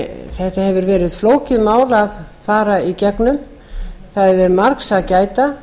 þetta hefur verið flókið mál að fara í gegnum það er margs að gæta